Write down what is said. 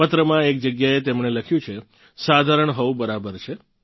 પત્રમાં એક જગ્યાએ તેમણે લખ્યું છે સાધારણ હોવું બરાબર છે